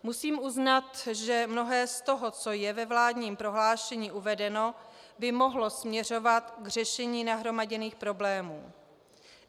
Musím uznat, že mnohé z toho, co je ve vládním prohlášení uvedeno, by mohlo směřovat k řešení nahromaděných problémů.